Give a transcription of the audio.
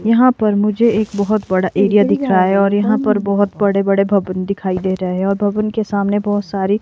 यहां पर मुझे एक बहोत बड़ा एरिया दिख रहा है और यहां पर बहोत बड़े बड़े भवन दिखाई दे रहे और भवन के सामने बहोत सारी--